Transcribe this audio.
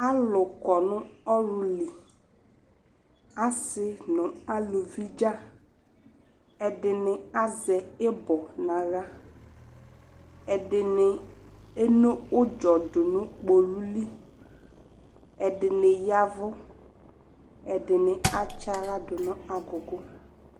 Alʋ kɔnʋ ɔlʋli, asi nʋ aluvi dzaa, ɛdini azɛ ibɔ n'aɣla, ɛdini eno ʋdzɔ dʋ nʋ kpolu li, ɛdini yavʋ, ɛdini atsa'ɣla dʋ nʋ agʋgʋ